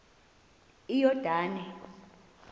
iyordane